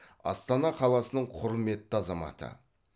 астана қаласының құрметті азаматы